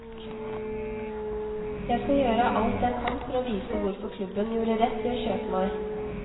Jeg skal gjøre alt jeg kan for å vise hvorfor klubben gjorde rett i å kjøpe meg.